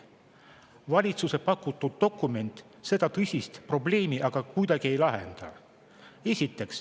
Valitsuse pakutud dokument seda tõsist probleemi aga kuidagi ei lahenda.